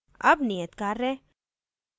अब नियतकार्य